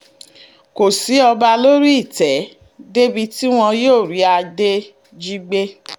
kò sí ọba lórí ìtẹ́ débi tí wọn yóò rí adé jí gbé